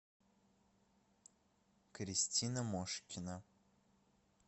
кристина мошкина